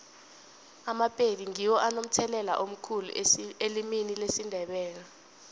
amapedi ngiwo anomthelela omkhulu elimini lesindebele